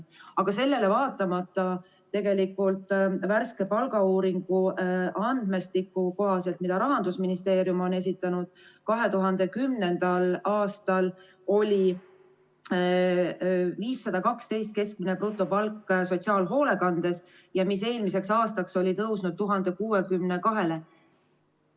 Aga sellele vaatamata tegelikult värske palgauuringu andmestiku kohaselt, mida Rahandusministeerium on esitanud, oli 2010. aastal keskmine brutopalk sotsiaalhoolekandes 512 eurot ja see oli eelmiseks aastaks tõusnud 1062-le.